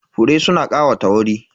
Fure suna ƙawata wuri.